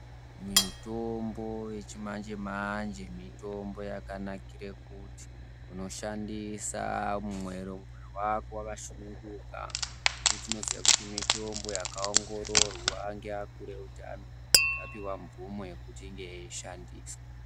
Mitombo yechimanje-manje, mitombo yakanakira kuti unoshandisa mumwero mwoyo wako wakasununguka, ngekuti tunoziya kuti mitombo yakaongororwa ngeakuru eutano, ikapiwe mvumo yekuti inge yeishandiswa.